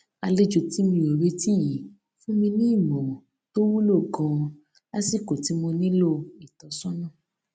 àlejò tí mi ò retí yìí fún mi ní ìmòràn tó wúlò ganan lásìkò tí mo nílò ìtọ́sọ́nà